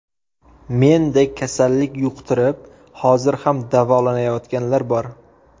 Mendek kasallik yuqtirib, hozir ham davolanayotganlar bor.